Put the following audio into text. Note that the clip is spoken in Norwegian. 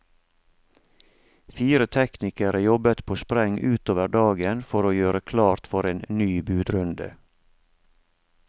Fire teknikere jobbet på spreng utover dagen for å gjøre klart for en ny budrunde.